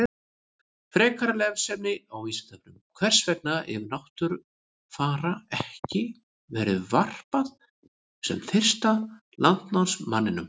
Frekara lesefni á Vísindavefnum: Hvers vegna hefur Náttfara ekki verið hampað sem fyrsta landnámsmanninum?